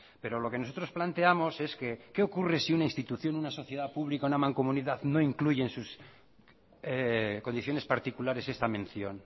pero lo que nosotros planteamos es que qué ocurre si una institución una sociedad pública una mancomunidad no incluye en sus condiciones particulares esta mención